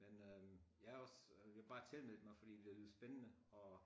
Men øh jeg også øh jeg bare tilmeldte mig fordi det lød spændende og